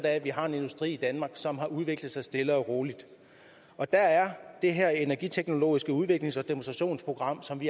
af at vi har en industri i danmark som har udviklet sig stille og roligt der er det her energiteknologiske udviklings og demonstrationsprogram som